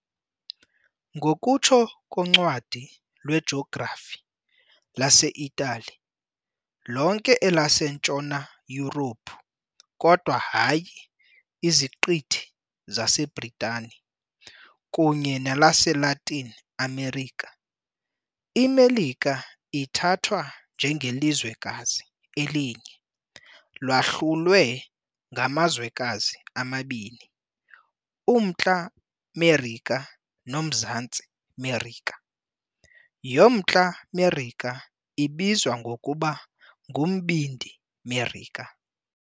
Ngokutsho koncwadi lwejografi yaseItali, lonke elaseNtshona Yurophu, kodwa hayi iZiqithi zaseBritani, kunye nelaseLatin America, iMelika ithathwa njengelizwekazi elinye, lahlulwe yangamazwekazi amabini- uMntla Merika noMzantsi Merika . yoMntla Merika ibizwa ngokuba nguMbindi Merika.